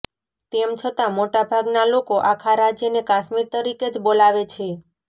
તેમ છતાં મોટા ભાગના લોકો આખા રાજ્યને કાશ્મીર તરીકે જ બોલાવે છે